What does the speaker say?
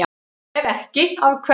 Ef ekki, af hverju?